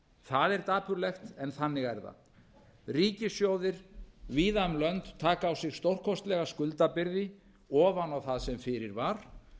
það er dapurlegt en þannig er það ríkissjóðir víða um lönd taka á sig stórkostlega skuldabyrði ofan á það sem fyrir var